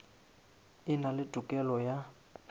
e na le tokelo ya